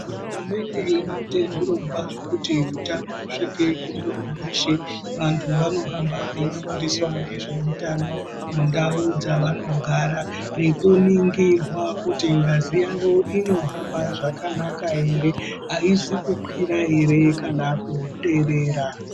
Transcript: Hurumende irikuita zvirokwazvo kuti utano usvike kumuntu weshe. Vantu vanoramba veifundiswa ngesveutano mundau dzavanogara nekuningirwa kuti ngazi yavo inohamba zvakanaka ere aizi kukwira ere kana kuderera.